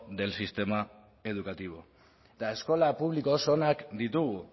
del sistema educativo eta eskola publiko oso onak ditugu